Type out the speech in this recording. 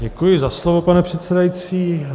Děkuji za slovo, pane předsedající.